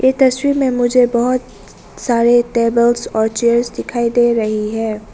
ये तस्वीर में मुझे बहुत सारे टेबल्स और चेयर्स दिखाई दे रही है।